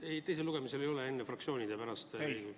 Kas teisel lugemisel ei ole enne fraktsioonid ja pärast ...?